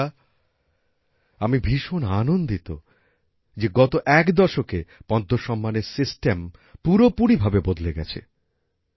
বন্ধুরা আমি ভীষণ আনন্দিত যে গত এক দশকে পদ্ম সম্মানের সিস্টেম পুরোপুরিভাবে বদলে গেছে